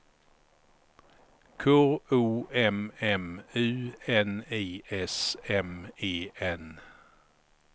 K O M M U N I S M E N